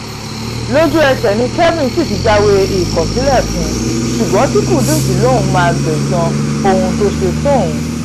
lójú-ẹsẹ̀ ni kelvini sì ti jáwé ìkọ̀sílẹ̀ fún un ṣùgbọ́n tí kúdiz lóun máa gbẹ̀san ohun tó ṣe sóun